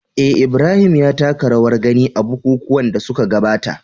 eh, Ibrahim ya taka rawar gani a bukukuwan da suka gabata